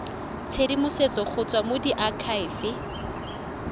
tshedimosetso go tswa go diakhaefe